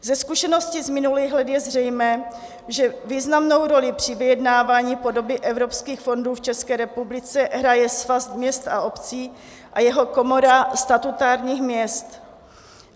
Ze zkušeností z minulých let je zřejmé, že významnou roli při vyjednávání podoby evropských fondů v České republice hraje Svaz měst a obcí a jeho Komora statutárních měst.